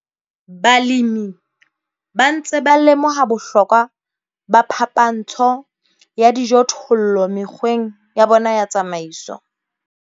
Balemi ba ntse ba lemoha bohlokwa ba phapantsho ya dijothollo mekgweng ya bona ya tsamaiso.